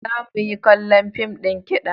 Za mu yi kallon fim ɗin kiɗa.